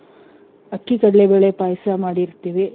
ಅಕ್ಕಿ ಕಡ್ಲೆ ಬೇಳೆ ಪಾಯ್ಸ ಮಾಡಿರ್ತೀವಿ.